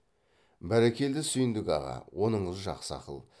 бәрекелді сүйіндік аға оныңыз жақсы ақыл